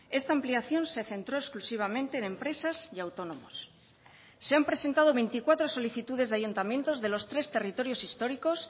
esta ampliación se centró exclusivamente en empresas y autónomos se han presentado veinticuatro solicitudes de ayuntamientos de los tres territorios históricos